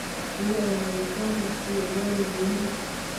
hooyo ayaa ii soo rartay ugali iyo hilib